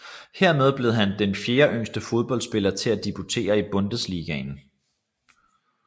Hermed blev han den fjerdeyngste fodboldspiller til at debutere i Bundesligaen